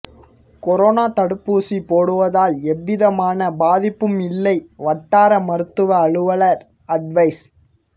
corona தடுப்பூசி போடுவதால் எந்தவிதமான பாதிப்பும் இல்லை வட்டார மருத்துவ அலுவலர் அட்வைஸ்